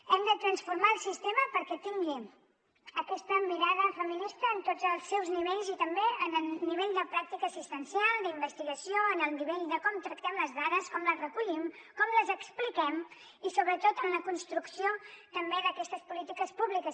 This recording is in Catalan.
hem de transformar el sistema perquè tingui aquesta mirada feminista en tots els seus nivells i també en el nivell de pràctica assistencial d’investigació en el nivell de com tractem les dades com les recollim com les expliquem i sobretot en la construcció també d’aquestes polítiques públiques